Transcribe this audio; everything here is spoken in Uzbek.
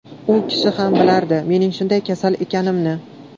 U kishi ham bilardi mening shunday kasal ekanimni.